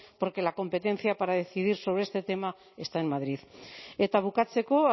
porque la competencia para decidir sobre este tema está en madrid eta bukatzeko